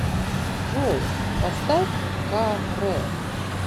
джой поставь ка рэ